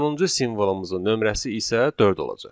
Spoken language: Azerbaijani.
Sonuncu simvolumuzun nömrəsi isə dörd olacaq.